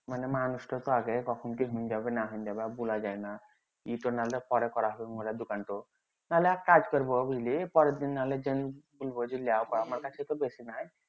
মানে মানুষ তা তো আগে কখন কি হইন যাবে না হইন যাবে বুলা যাইনা নাহলে এক কাজ করবো বুঝলি পরের দিন নাহলে আমার কাছে তো বেশি নাই